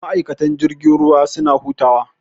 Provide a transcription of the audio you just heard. Ma'aikatan jirgin ruwa suna hutawa.